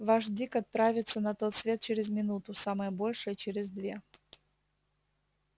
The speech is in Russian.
ваш дик отправится на тот свет через минуту самое большее через две